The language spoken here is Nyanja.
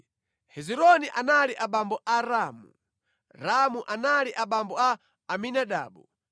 Hezironi anali abambo a Ramu, Ramu anali abambo a Aminadabu,